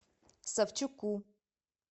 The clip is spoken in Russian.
савчуку